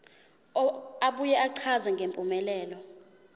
abuye achaze ngempumelelo